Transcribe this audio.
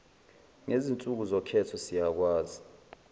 ngezinsuku zokhetho ziyakwazi